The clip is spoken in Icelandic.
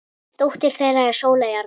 Dóttir þeirra er Sóley Arna.